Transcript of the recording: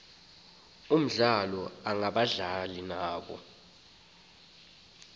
omdlalo ngabadlali naba